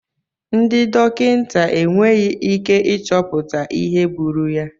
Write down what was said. Ndị dọkịta enweghị ike ịchọpụta ihe gburu ya.